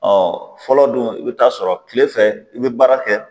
fɔlɔ don i bɛ taa sɔrɔ kile fɛ i bɛ baara kɛ